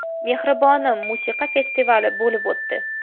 mehribonim” musiqa festivali bo‘lib o‘tdi.